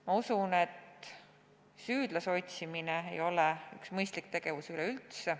Ma usun, et süüdlase otsimine ei ole üldse mõistlik tegevus.